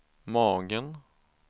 magen